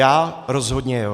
Já rozhodně jo.